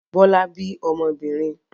Bọ́lá bí ọmọbìnrin?